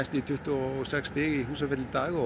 í tuttugu og sex í Húsafelli í dag og